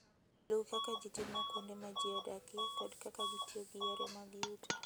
Luw kaka ji timo kuonde ma ji odakie kod kaka gitiyo gi yore mag yuto.